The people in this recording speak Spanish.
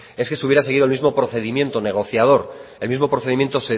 es que se hubiera seguido el mismo procedimiento negociador el mismo procedimiento